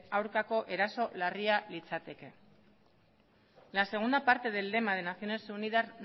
aurkako eraso larria litzateke la segunda parte del lema de naciones unidas